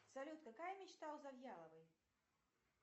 салют какая мечта у завьяловой